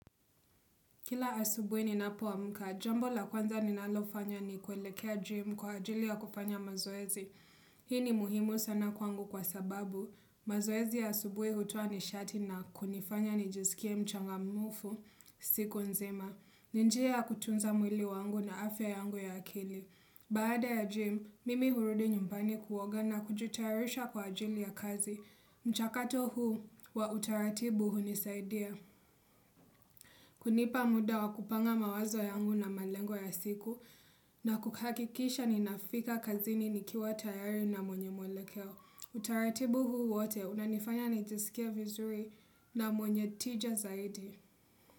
Kila asubuhi ninapo amka, jambo la kwanza ninalofanya ni kuelekea gym kwa ajili ya kufanya mazoezi. Hii ni muhimu sana kwangu kwasababu, mazoezi ya asubuhi hutoa nishati na kunifanya ni jisikie mchangamufu, siku nzima. Ni njia ya kutunza mwili wangu na afya yangu ya akili. Baada ya gym, mimi hurudi nyumpani kuoga na kujitayarisha kwa ajili ya kazi. Mchakato huu, wautaratibu hunisaidia. Kunipa muda wakupanga mawazo yangu na malengo ya siku na kukakikisha ninafika kazini nikiwa tayari na mwenye muelekeo. Utaratibu huu wote, unanifanya nikisikie vizuri na mwenye tija zaidi.